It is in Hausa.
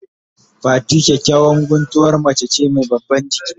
Fati kyakyawan guntuwar mace ce mai babban giki.